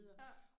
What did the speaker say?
Ja